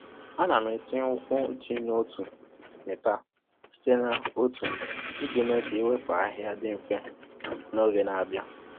A na m etinye ụkwụ ji n’otu mita site n’otu iji mee ka iwepụ ahịhịa dị mfe n’oge na-abịa.